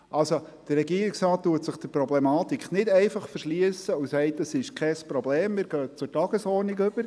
Also: Der Regierungsrat verschliesst sich der Problematik nicht einfach und sagt, das sei kein Problem, gehen wir zur Tagesordnung über.